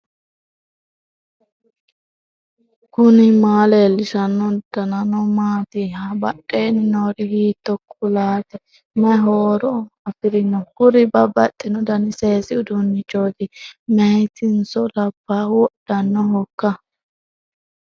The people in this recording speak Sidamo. knuni maa leellishanno ? danano maati ? badheenni noori hiitto kuulaati ? mayi horo afirino ? kuri babbaxino dani seesi uduunnichooti maytinso labbahu wodhannohoikka